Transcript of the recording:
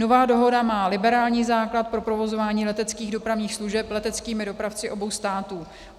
Nová dohoda má liberální základ pro provozování leteckých dopravních služeb leteckými dopravci obou států.